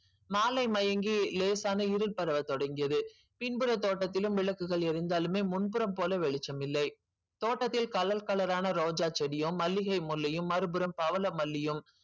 மாலை மயங்கி லேசான இருள் வர தொடங்கியது பின்புற தோட்டத்திலும் விளக்குகளும் எரிஞ்சாலுமே முன்புற போல வெளிச்சம் இல்லை தோட்டத்தில் colour colour ஆனா ரோஜா செடியும் மல்லிகை முல்லையும் மறுபுறம் பவள மல்லியும்